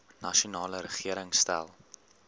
nasionale regering stel